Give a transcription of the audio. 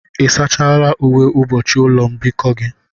Ị sachala uwe ụbọchị ụlọ mbikọ gị?